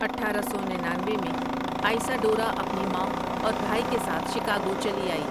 اٹھارہ سو ننانوے میں آئسا ڈورا اپنی ماں اور بھائی کے ساتھ شکاگو چلی آئی ۔